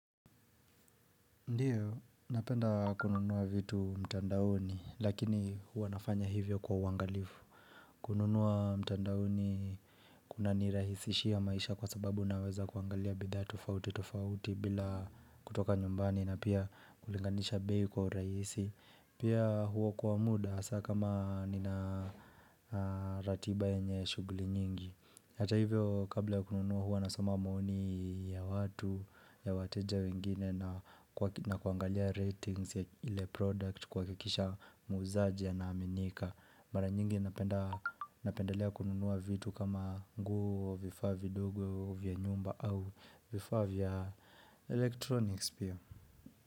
Ndio, napenda kununua vitu mtandaoni, lakini huwa nafanya hivyo kwa uangalifu kununua mtandaoni kunanirahisishia maisha kwa sababu naweza kuangalia bidhaa tofauti tofauti bila kutoka nyumbani na pia kulinganisha bei kwa urahisi Pia huo kwa muda saa kama nina ratiba yenye shughuli nyingi Hata hivyo kabla ya kununua huwa nasoma maoni ya watu ya wateja wengine na kuangalia ratings ya ile product kuhakikisha muzaji anaaminika Mara nyingi napendelea kununua vitu kama nguo vifaa vidogo vya nyumba au vifaa vya electronics pia.